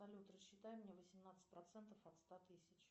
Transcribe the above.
салют рассчитай мне восемнадцать процентов от ста тысяч